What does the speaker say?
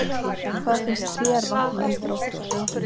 Hvað finnst ÞÉR vanta í Þrótt?